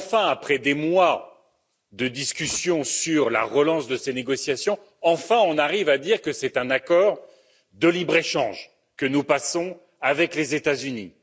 Après des mois de discussions sur la relance de ces négociations, enfin on arrive à dire que c'est un accord de libre échange que nous passons avec les États Unis.